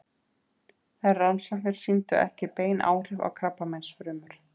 Þær rannsóknir sýndu ekki bein áhrif á krabbameinsfrumur.